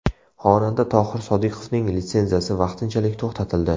Xonanda Tohir Sodiqovning litsenziyasi vaqtinchalik to‘xtatildi.